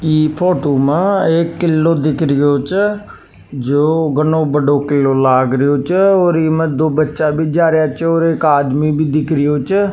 ई फोटो मा एक किलो दिख रियो छे जो घनो बड़ो किल्लो लाग रियो छ और इमें दो बच्चा भी जा रिया छे और एक आदमी भी दिख रियो छे।